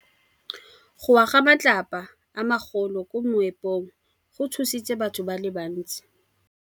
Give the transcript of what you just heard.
Go wa ga matlapa a magolo ko moepong go tshositse batho ba le bantsi.